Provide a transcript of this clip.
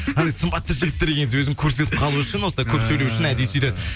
анандай сымбатты жігіттер келген кезде өзін көрсетіп қалуы үшін осылай көп сөйлеу үшін әдейі сөйтеді